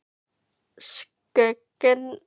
Skugginn hrærðist ekki svo Ari áræddi að líta upp.